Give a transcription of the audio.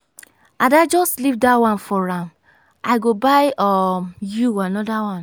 ada just leave dat one for am i go buy um you another one.